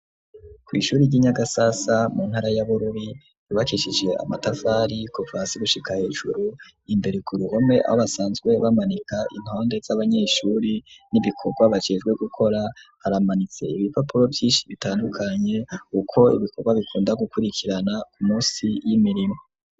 Ku ishuri ry'inyagasasa mu ntara yaborori ribakishije amatavari kuvasi gushika hejuru imbere ku ruhome abo basanzwe bamanika intonde z'abanyeshuri n'ibikorwa bacijwe gukora haramanitse ibipapuro byish bitandukanye uko ibikorwa bikunda gukurikirana ku munsi y'imirimo